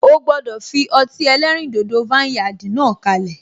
O gbọdọ fi ọtí ẹlẹ́rìn dodo vineyard náà kalẹ.